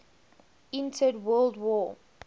entered world war